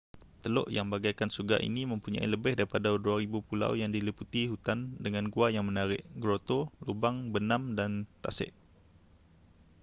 teluk yang bagaikan syurga ini mempunyai lebih daripada 2,000 pulau yang diliputi hutan dengan gua yang menarik groto lubang benam dan tasik